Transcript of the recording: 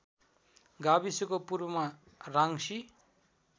गाविसको पूर्वमा राङ्सी